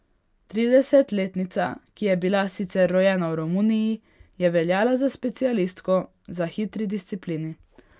Tridesetletnica, ki je bila sicer rojena v Romuniji, je veljala za specialistko za hitri disciplini.